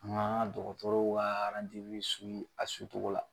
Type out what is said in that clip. Ŋa ŋa dɔgɔtɔrɔw ka a togo la.